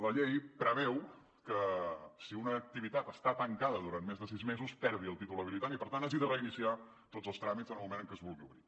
la llei preveu que si una activitat està tancada durant més de sis mesos perdi el títol habilitant i per tant hagi de reiniciar tots els tràmits en el moment en què es vulgui obrir